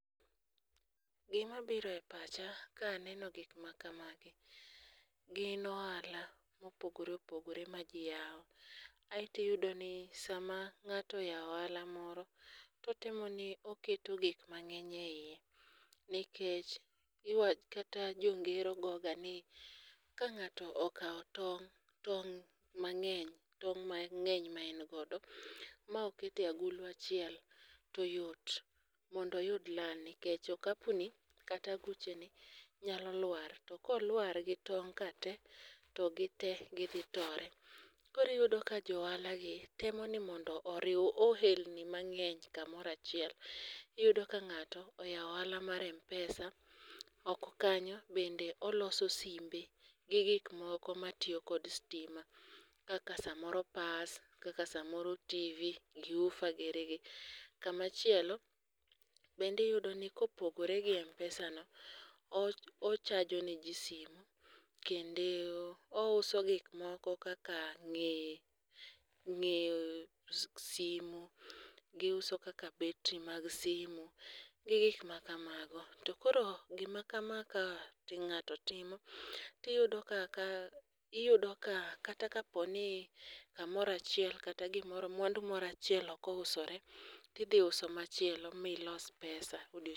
Gimabiro e pacha kaneno gik makamagi, gin ohala mopogore opogore ma ji yawo, aeto iyudo ni sama ng'ato oyawo ohala moro, totimo ni oketo gik mang'eny e iye, nikech kata jongero goga ni ka ng'ato okawo tong',tong' mang'eny ma en godo ma oketo e agulu achiel to yot mondo oyud lal nikech okapuni kata agucheni nyalo lwar, to kolwar gi tong' ka te, to gite gidhi tore. Koro iyudo ka jo ohala gi temo ni mondo oriw ohelni mang'eny kamoro achiel. Iyudo ka ng'ato oyawo ohala mar m-pesa, oko kanyo bende oloso simbe gi gik moko matiyo kod stima kaka samoro pas, kaka samoro TV,gi woofer girigi. Kamachielo bende iyudoni kopogore gi m-pesano, ochajo ne ji simu kendo ouso gikmoko kaka ng'eye simu, giuso kaka battery mag simu gi gik makamago. To koro gima kama ka ng'ato timo, tiyudo ka kata kaponi kamoro achiel kata gimoro, mwandu moro achiel ok ousore, tidhi uso machielo milos pesa odiochieng' achiel.